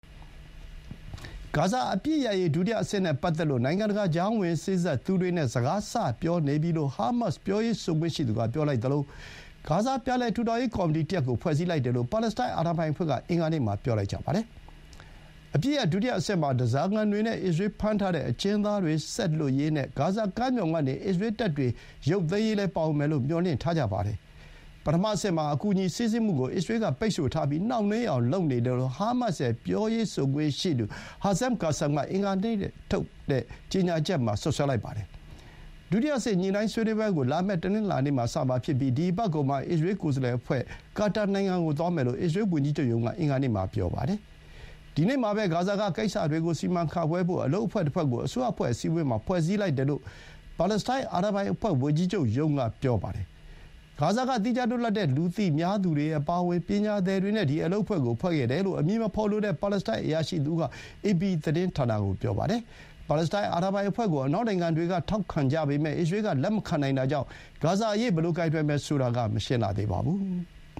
ဂါဇာ အပစ်ရပ်ရေး ဒုတိယအဆင့်နဲ့ ပတ်သက်လို့ နိုင်ငံတကာ ကြားဝင်စေ့စပ်သူတွေနဲ့ စကား စပြောနေပြီလို့ ဟားမတ်စ် ပြောရေးဆိုခွင့်ရှိသူက ပြောလိုက်သလို ဂါဇာ ပြန်လည်ထူထောင်ရေး ကော်မတီတရပ်ကို ဖွဲ့စည်းလိုက်တယ်လို့ ပါလက်စတိုင်း အာဏာပိုင်အဖွဲ့က အင်္ဂါနေ့မှာ ပြောလိုက်ကြပါတယ်။ အပစ်ရပ် ဒုတိယအဆင့်မှာ ဓားစာခံတွေနဲ့ အစ္စရေးလ်ဖမ်းထားတဲ့ အကျဥ်းသားတွေ ဆက်လွှတ်ရေးနဲ့ ဂါဇာကမ်းမြှောင်ကနေ အစ္စရေးလ်တပ်တွေ ရုပ်သိမ်းရေးလည်း ပါဝင်မယ်လို့ မျှော်လင့်ထားကြတာပါ။ ပထမအဆင့်မှာ အကူအညီ စီးဆင်းမှုကို အစ္စရေးလ်က ပိတ်ဆို့ထားပြီး နှောင့်နှေးအောင် လုပ်နေတယ်လို့ ဟားမတ်စ်ရဲ့ ပြောရေးဆိုခွင့်ရှိသူ Hazem Qassam က အင်္ဂါနေ့မှာထုတ်တဲ့ ကြေညာချက်မှာ ပြောပါတယ်။ ဒုတိယအဆင့် ညှိုနှိုင်းဆွေးနွေးပွဲကို လာမယ့် တနင်္လာနေ့မှာ စမှာဖြစ်ပြီး ဒီအပတ်ကုန်မှာ အစ္စရေးလ် ကိုယ်စားလှယ်အဖွဲ့က ကာတာနိုင်ငံကို သွားမယ်လို့ အစ္စရေးလ်ဝန်ကြီးချုပ်ရုံးက အင်္ဂါနေ့မှာ ပြောပါတယ်။ ဒီနေ့မှာပဲ ဂါဇာက ကိစ္စတွေကို စီမံခန့်ခွဲဖို့ အလုပ်အဖွဲ့တဖွဲ့ကို အစိုးရအဖွဲ့ အစည်းအဝေးမှာ ဖွဲ့စည်းလိုက်တယ်လို့ ပါလက်စတိုင်း အာဏာပိုင်အဖွဲ့ ဝန်ကြီးချုပ်ရုံးက ပြောပါတယ်။ ဂါဇာက သီးခြားလွတ်လပ်တဲ့ လူသိများသူတွေအပါအဝင် ပညာသည်တွေနဲ့ ဒီအလုပ်အဖွဲ့ကို ဖွဲ့တယ်လို့ အမည်မဖော်လိုတဲ့ ပါလက်စတိုင်း အရာရှိတဦးက အေပီသတင်းဌာနကို ပြောပါတယ်။ ပါလက်စတိုင်း အာဏာပိုင်အဖွဲ့ကို အနောက်နိုင်ငံတွေက ထောက်ခံကြပေမဲ့ အစ္စရေးလ်က လက်မခံနိုင်တာကြောင့် ဂါဇာအရေး ဘယ်လိုကိုင်တွယ်မယ်ဆိုတာက မရှင်းလှသေးပါဘူး။